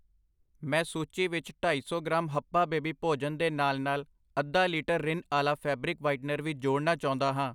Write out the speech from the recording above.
ਮੈਂ ਸੂਚੀ ਵਿੱਚ ਢਾਈ ਸੌ ਗ੍ਰਾਮ ਹਪਪਆ ਬੇਬੀ ਭੋਜਨ ਦੇ ਨਾਲ ਨਾਲ ਅੱਧਾ ਲੀਟਰ ਰਿਨ ਅਾਲਾ ਫੈਬਰਿਕ ਵਾਈਟਨਰ ਵੀ ਜੋੜਨਾ ਚਾਉਂਦਾ ਹਾਂ I